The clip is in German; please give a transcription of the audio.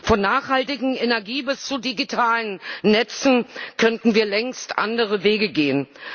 Von nachhaltiger Energie bis zu digitalen Netzen könnten wir längst andere Wege gehen.